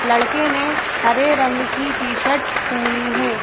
लड़के ने हरे रंग की टी शर्ट पहनी है।